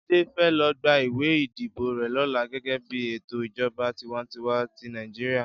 Jide fè lo gbá iwé idibó rè lòlá gègè bi étó ijòbá tiwàntiwá ti Nàijiriá